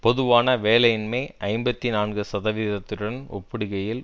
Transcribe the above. பொதுவான வேலையின்மை ஐம்பத்தி நான்கு சதவிகிதத்துடன் ஒப்பிடுகையில்